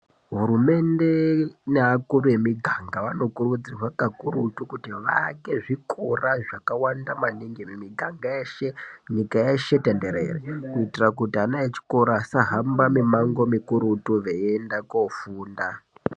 Hurumende neakuru emiganga vanokurudzirwa kakurutu ,kuti vaake zvikora zvakawanda maningi, mimiganga yeshe, nyika yeshe tenderere, kuitira kuti ana echikora asahamba mimango mikurutu veienda koofunda.